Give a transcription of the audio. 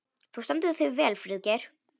Þú stendur þig vel, Friðgeir!